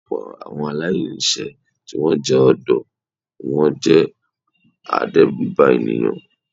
Ọ̀pọ̀ àwọn aláìní iṣẹ́ tó jẹ́ ọ̀dọ́ ni wón jẹ́ adérùbànìyàn.